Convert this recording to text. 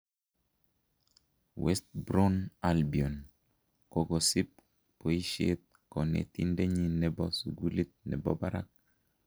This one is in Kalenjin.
West Brown Albion kokosib boishet konetindenyin nebo sugulit nebo barak